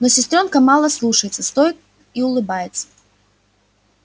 но сестрёнка мало слушается стоит и улыбается